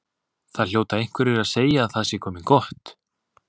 Það hljóta einhverjir að segja að það sé komið gott.